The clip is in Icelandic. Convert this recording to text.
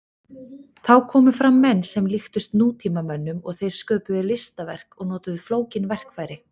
Þá komu fram menn sem líktust nútímamönnum og þeir sköpuðu listaverk og notuðu flókin verkfæri.